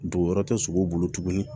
Dugu wɛrɛ tɛ sogo bolo tuguni